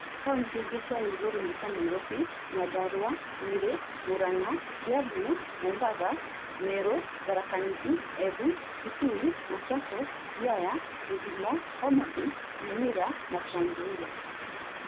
Kauntĩ ingĩ ciarĩ igũrũ nĩ ta; Nairobi, Nyandarua, Nyeri, Murang’a, Kiambu, Mombasa, Meru, Tharaka Nithi, Embu, Kitui, Machakos, Siaya, Kisumu, Homa Bay, Nyamira, Trans Nzoia.